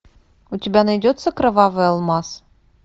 у тебя найдется кровавый алмаз